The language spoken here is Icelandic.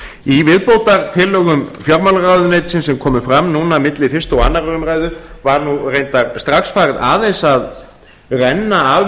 í viðbótartillögum fjármálaráðuneytisins sem komu fram núna milli fyrstu og önnur umræða var reyndar strax farið aðeins að renna af